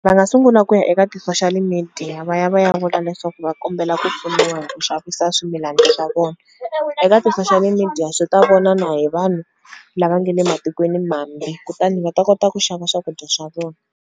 Va nga sungula ku ya eka ti-social media va ya va ya vula leswaku va kombela ku pfuniwa hi ku xavisa swimilanii swa vona. Eka ti-social media swi ta vona na hi vanhu lava nge le matikweni mambe kutani va ta kota ku xava swakudya swa vona.